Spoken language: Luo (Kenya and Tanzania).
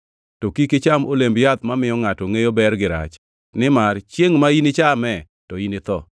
to kik icham olemb yath mamiyo ngʼato ngʼeyo ber gi rach, nimar chiengʼ ma inichame to initho.”